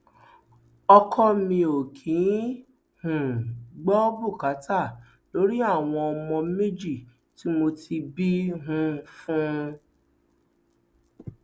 ọkọ mi ò kì í um gbọ bùkátà lórí àwọn ọmọ méjì tí mo ti bí um fún un